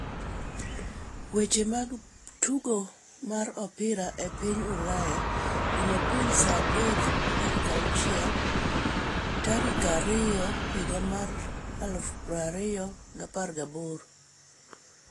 Weche mag tugo mar opira e piny Ulaya, Jumapil: 03.06.2.2018